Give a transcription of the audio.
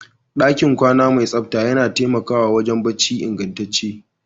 ɗakin kwana mai tsabta yana taimakawa wurin barci ingantacce